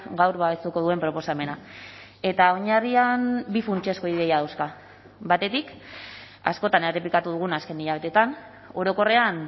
gaur babestuko duen proposamena eta oinarrian bi funtsezko ideia dauzka batetik askotan errepikatu dugun azken hilabeteetan orokorrean